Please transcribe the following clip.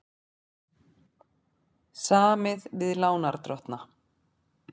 Samið við lánardrottna